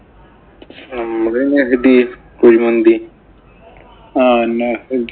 നമ്മടെ കുഴിമന്തി. ആഹ് പിന്നെ